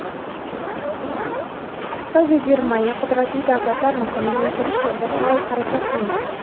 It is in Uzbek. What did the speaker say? Xitoy va Germaniya qudratli davlatlar maqomiga intilish yo‘lida faol harakat qilmoqda.